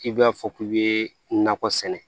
K'i b'a fɔ k'i bɛ nakɔ sɛnɛ